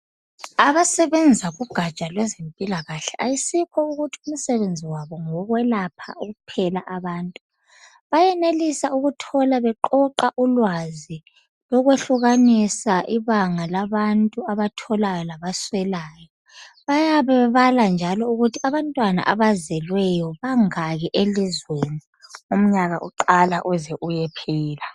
Abasebenza kugatsha lwezempilakahle ayisikho ukuthi umsebenzi wabo ngowokwelapha kuphela abantu bayenelisabukuthola beqoqa ulwazi lokwehlukanisa ibanga labantu abatholayo labaswelayo bayabe bebala njalo ukuthi abantwana abazelweyo bangaki elizweni umnyaka uqala uze uyephela